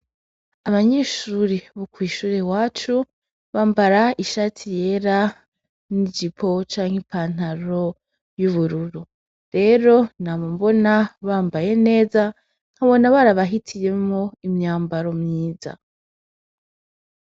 Abanyeshuri bo kw'ishure iwacu bambara ishati yera n'ipantaro canke ijipo y'ubururu, rero nama mbona bambaye neza ,nkabona barabahitiyemwo imyambaro myiza.